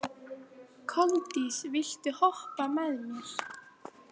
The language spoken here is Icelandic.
Koldís, viltu hoppa með mér?